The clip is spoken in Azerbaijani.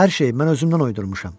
Hər şey, mən özümdən uydurmuşam.